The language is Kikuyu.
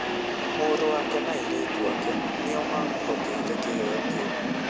Mũrũ wake na airĩtu ake nĩo maamũhokeire kĩheo kĩu.